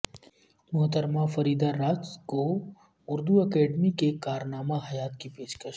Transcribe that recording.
محترمہ فریدہ راج کو اردو اکیڈیمی کے کارنامہ حیات کی پیشکش